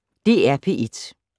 DR P1